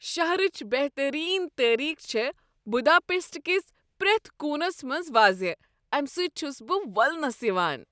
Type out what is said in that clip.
شہرٕچ بہترین تٲریخ چھےٚ بداپیسٹ کِس پرٛیتھ کونس منٛز واضح، امہِ سٕتۍ چھس بہٕ وولسنس یوان۔